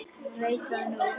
Veit það núna.